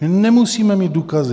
My nemusíme mít důkazy.